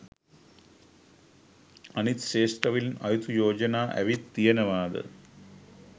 අනිත් ක්ෂේත්‍රවලින් අයුතු යෝජනා ඇවිත් තියෙනවාද?